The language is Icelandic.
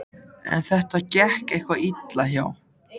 En þetta gekk eitthvað illa hjá